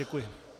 Děkuji.